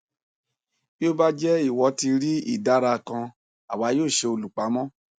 bí ó bá jẹ ìwọ ti rí ìdàrà kan àwa yóò ṣe olùpamọ